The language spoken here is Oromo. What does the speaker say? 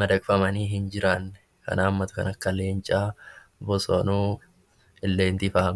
madaqfamanii hin jiraanne kan hammatu kan akka leencaa, bosonuu, illeentii faa....